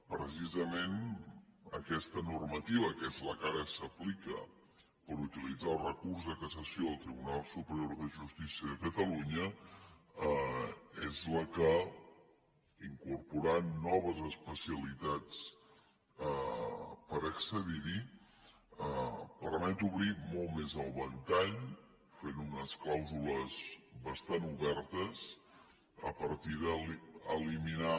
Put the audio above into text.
precisament aquesta normativa que és la que ara s’aplica per utilitzar el recurs de cassació al tribunal superior de justícia de catalunya és la que incorporant noves especialitats per accedir hi permet obrir molt més el ventall fent unes clàusules bastant obertes a partir d’eliminar